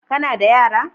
Ka na da yara?